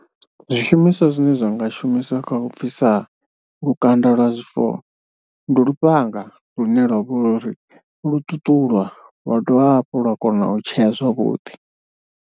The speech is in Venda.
Zwishumiswa zwine zwa nga shumiswa kha u bvisa lukanda lwa zwifuwo ndi lufhanga lune lwa vha uri lwo ṱuṱula lwa dovha hafhu lwa kona u tshea zwavhuḓi.